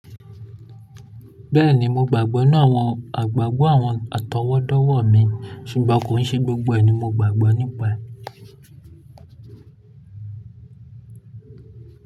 Bẹ́ẹ̀ni, mo gbàgbọ́ nínú àwọn àgbàgbọ́ àwọn àtọwọ́dọ́wọ̀ mi ṣùgbọ́n kò ń ṣe gbogbo ẹ̀ ni mo gbàgbọ́ nípa ẹ̀